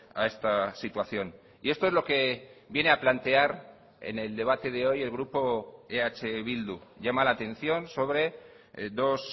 a esta situación y esto es lo que viene a plantear en el debate de hoy el grupo eh bildu llama la atención sobre dos